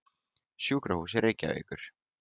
Sjúkrahúsi Reykjavíkur